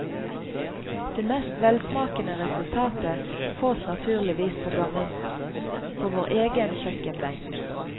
Det mest velsmakende resultatet fås naturligvis på gammelmåten, på vår egen kjøkkenbenk.